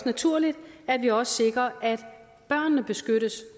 naturligt at vi også sikrer at børnene beskyttes